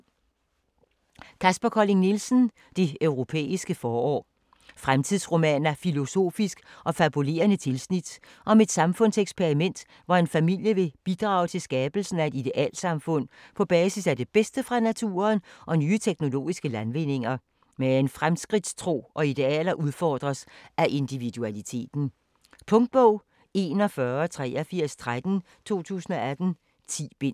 Colling Nielsen, Kaspar: Det europæiske forår Fremtidsroman af filosofisk og fabulerende tilsnit om et samfundseksperiment, hvor en familie vil bidrage til skabelsen af et idealsamfund på basis af det bedste fra naturen og nye teknologiske landvindinger. Men fremskridtstro og idealer udfordres af individualiteten. Punktbog 418313 2018. 10 bind.